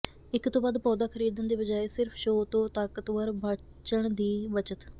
ਇੱਕ ਤੋਂ ਵੱਧ ਪੌਦਾ ਖਰੀਦਣ ਦੇ ਬਜਾਏ ਸਿਰਫ ਸ਼ੋਅ ਤੋਂ ਤਾਕਤਵਰ ਬਚਣ ਦੀ ਬਚਤ